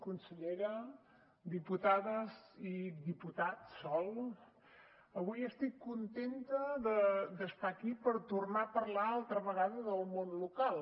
consellera diputades i diputat sol avui estic contenta d’estar aquí per tornar a parlar altra vegada del món local